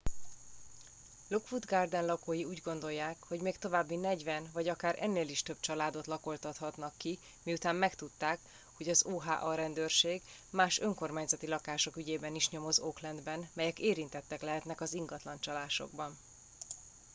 lockwood garden lakói úgy gondolják hogy még további 40 vagy akár ennél is több családot lakoltathatnak ki miután megtudták hogy az oha rendőrség más önkormányzati lakások ügyében is nyomoz oaklandben melyek érintettek lehetnek az ingatlancsalásokban